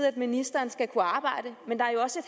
at ministeren skal kunne arbejde men der er jo også